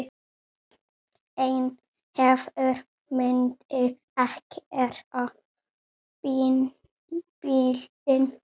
En hver myndi keyra bílinn?